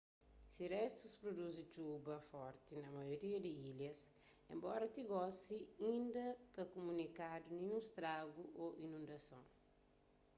se restus pruduzi txub a forti na maioria di ilhas enbora ti gosi inda ka kumunikadu ninhun stragu ô inundason